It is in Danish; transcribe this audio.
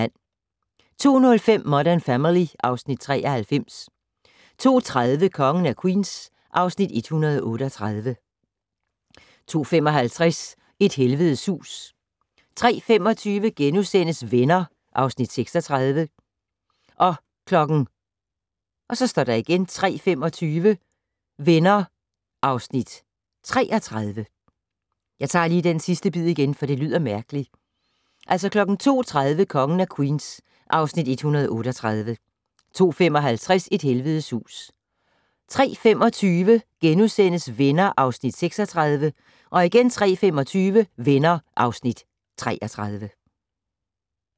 02:05: Modern Family (Afs. 93) 02:30: Kongen af Queens (Afs. 138) 02:55: Et helvedes hus 03:25: Venner (Afs. 36)* 03:25: Venner (Afs. 33)